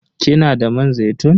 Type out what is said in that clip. Kina da man zaitun?